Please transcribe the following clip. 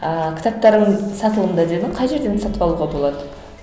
ааа кітаптарың сатылымда дедің қай жерден сатып алуға болады